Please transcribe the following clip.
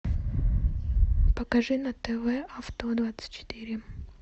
покажи на тв авто двадцать четыре